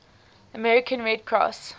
american red cross